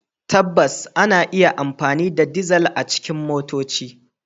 Tabbas, ana iya amfani da dizal a cikin motoci.